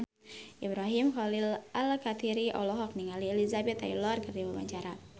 Ibrahim Khalil Alkatiri olohok ningali Elizabeth Taylor keur diwawancara